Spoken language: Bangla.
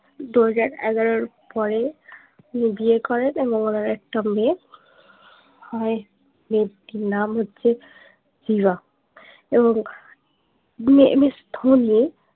দুহাজার এগারোর পরে তিনি বিয়ে করেন এবং ওনার একটা মেয়ে হয় মেয়েটির নাম হচ্ছে এবং বিয়ে মিস ধোনি